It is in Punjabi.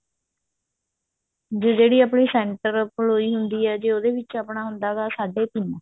ਜਿਹੜੀ ਆਪਣੀ center ਪ੍ਲੋਈ ਹੁੰਦੀ ਹੈ ਜੇ ਉਹਦੇ ਵਿੱਚ ਆਪਣਾ ਹੁੰਦਾ ਹੈਗਾ ਸਾਡੇ ਤਿੰਨ